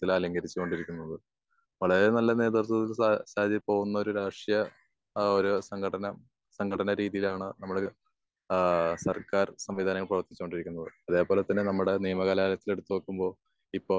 അലങ്കരിച്ചു കൊണ്ടിരിക്കുന്നത്. വളരെ നല്ല നേതൃത്വത്തിൽ ശരിയായ പോകുന്ന ഒരു രാഷ്ട്രീയ ഏഹ് ഒരു സംഘടന ഏഹ് സംഘടന രീതിയാണ് കൊണ്ടിരിക്കുന്നത്. ഏഹ് അത് പോലെ തന്നെ നമ്മുടെ നിയമ കലാലയത്തിൽ എടുത്ത് നോക്കുമ്പോ ഇപ്പൊ